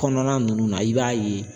Kɔnɔna nunnu na i b'a ye